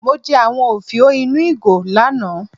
Mo jẹ àwọn òfiò ínú ìgò lánàá.